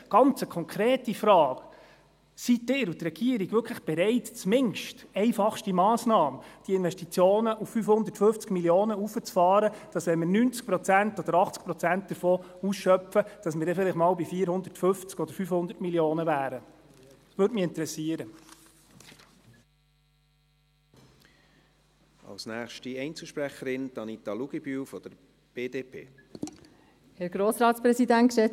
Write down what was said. Eine ganz konkrete Frage: Sind Sie und die Regierung denn wirklich bereit, diese Investitionen zumindest als einfachste Massnahme auf 550 Mio. Franken hochzufahren, sodass wir vielleicht einmal bei 450 oder 500 Mio. Franken wären, wenn wir 80 Prozent oder 90 Prozent davon ausschöpften?